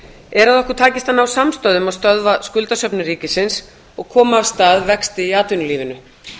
er að okkur takist að ná samstöðu um að stöðva skuldasöfnun ríkisins og koma af stað vexti í atvinnulífinu